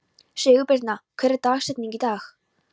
Sigurbirna, hver er dagsetningin í dag?